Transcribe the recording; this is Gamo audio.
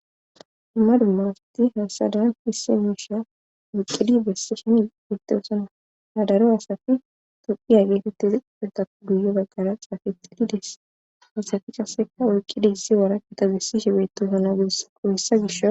Dumma dumma asati hasadan hisse miisha oyqqidi bessishen betosana hadaro asafi toqi a geetettizi qiphuntako duyo baggala xaafe xilides asafi kaseka oyqqidi issi wara kita bessishe betosana gudessa qohyssa gisho.